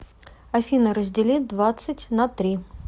афина раздели двадцать на три